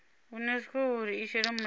unesco uri i shele mulenzhe